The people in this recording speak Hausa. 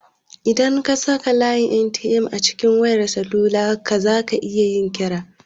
Idan ka saka layin 'MTN' a cikin wayar salula zaka iya yin kira.